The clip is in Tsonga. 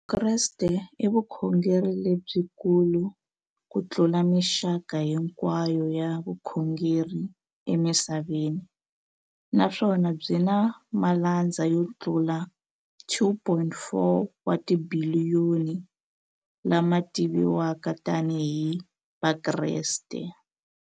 Vukreste i vukhongeri lebyi kulu kutlula mixaka hinkwayo ya vukhongeri emisaveni, naswona byi na malandza yo tlula 2.4 wa tibiliyoni, la ma tiviwaka tani hi Vakreste.